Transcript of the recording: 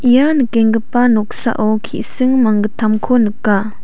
ia nikenggipa noksao ki·sing manggittamko nika.